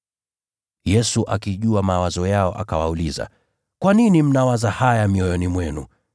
Yesu akijua mawazo yao akawauliza, “Kwa nini mnawaza hivyo mioyoni mwenu?